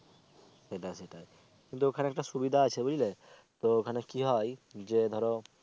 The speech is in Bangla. সেটা সেটা তো ওখানে একটা সুবিধা আছে বুঝলে তো ওখানে কি হয় যে ধরো